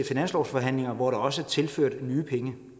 finanslovsforhandlinger hvor der også er tilført nye penge